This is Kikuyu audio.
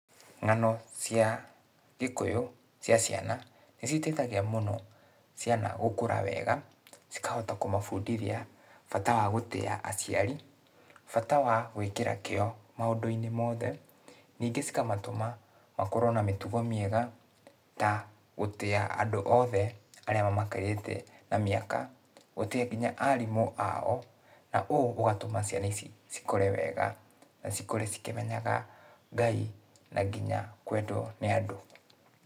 Ng'ano cia Gĩkũyũ cia ciana, nĩcio iteithagia mũno ciana gũkũra wega, cikahota kũmabundithia, bata wa gũtĩa aciari, bata wa gwĩkĩra kĩo maũndũ-inĩ mothe, nĩngĩ cikamatũma makorwo na mĩtugo mĩega, ta gũtĩa andũ othe arĩa mamakĩrĩte na mĩaka, gũtĩa kinya arimũ ao, na ũũ ũgatũma ciana ici cikũre wega, na cikũre cikĩmenyaga Ngai, na nginya kwendwo nĩ andũ.